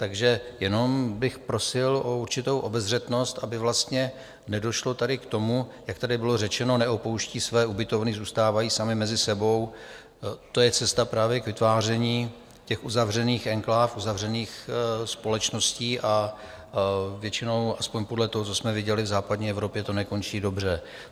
Takže jenom bych prosil o určitou obezřetnost, aby vlastně nedošlo taky k tomu, jak tady bylo řečeno - neopouští své ubytovny, zůstávají sami mezi sebou - to je cesta právě k vytváření těch uzavřených enkláv, uzavřených společností a většinou, aspoň podle toho, co jsme viděli v západní Evropě, to nekončí dobře.